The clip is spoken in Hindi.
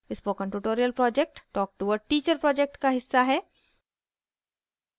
spoken tutorial project talk to a teacher project का हिस्सा है